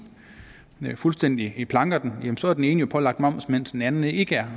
fuldstændig planker den jamen så er den ene jo pålagt moms mens den anden ikke er